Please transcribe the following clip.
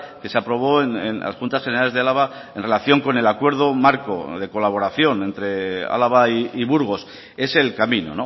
que se aprobó en las juntas generales de álava en relación con el acuerdo marco de colaboración entre álava y burgos es el camino